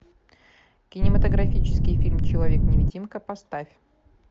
кинематографический фильм человек невидимка поставь